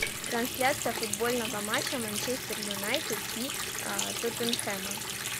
трансляция футбольного матча манчестер юнайтед и тоттенхэма